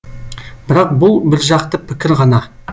бірақ бұл біржақты пікір ғана